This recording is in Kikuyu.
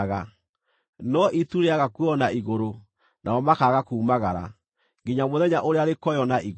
no itu rĩĩaga kuoywo na igũrũ, nao makaaga kuumagara, nginya mũthenya ũrĩa rĩkoywo na igũrũ.